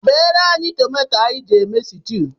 Bere anyị tomato anyị ji eme situ